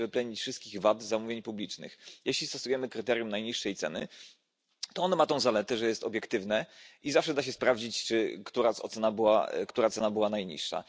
Nie da się wyplenić wszystkich wad zamówień publicznych. Jeśli stosujemy kryterium najniższej ceny, to ono ma tę zaletę, że jest obiektywne i zawsze da się sprawdzić, która cena była najniższa.